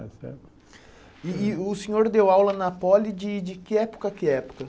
E e o senhor deu aula na Poli de de que época, a que época?